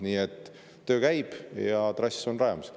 Nii et töö käib ja trass on rajamisel.